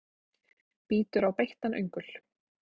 Bítur á beittan öngul.